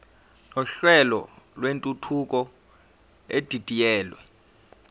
nohlelo lwentuthuko edidiyelwe